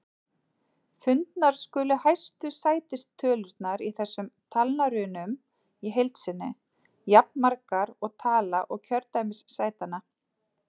Fundnar skulu hæstu sætistölurnar í þessum talnarunum í heild sinni, jafnmargar og tala kjördæmissætanna.